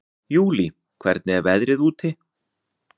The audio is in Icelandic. Júlí, hvernig er veðrið úti?